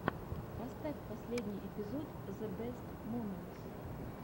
поставь последний эпизод зэ бэст моментс